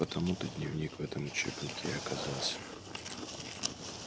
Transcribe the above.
потому-то дневник в этом учебнике и оказался